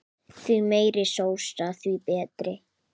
Því meiri sósa því betra.